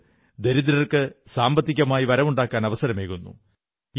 ഇത് ദരിദ്രർക്ക് സാമ്പത്തികമായി വരവുണ്ടാക്കാൻ അവസരമേകുന്നു